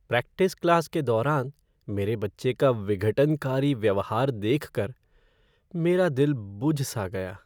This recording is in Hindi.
प्रैक्टिस क्लास के दौरान मेरे बच्चे का विघटनकारी व्यवहार देख कर मेरा दिल बुझ सा गया।